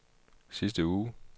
sidste uge